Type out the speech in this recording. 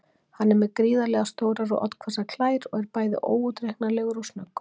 Hann er með gríðarlega stórar og oddhvassar klær og er bæði óútreiknanlegur og snöggur.